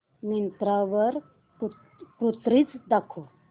मिंत्रा वर कुर्तीझ दाखव